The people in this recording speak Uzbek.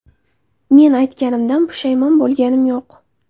Men aytganimdan pushaymon bo‘lganim yo‘q.